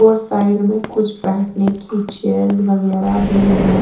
और साइड में कुछ बैठ ने की चेयर्स वगेरा भी है।